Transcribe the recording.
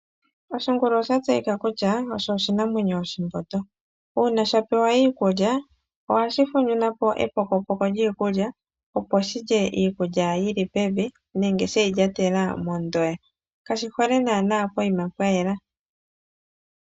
Oshingulu osha tseyika kutya osho oshinamwenyo oshimbondo. Uuna sha pewa iikulya ohashi funyuna po epokopoko lyiikulya opo shilye iikulya yili pevi nenge sheyi lyatela mondoya. Kashi hole naana poima pwayela.